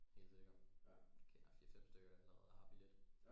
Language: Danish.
Helt sikkert jeg kender fire fem stykker der allerede har billet